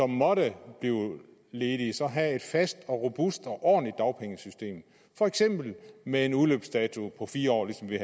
måtte blive ledige have et fast robust og ordentligt dagpengesystem for eksempel med en udløbsdato på fire år ligesom vi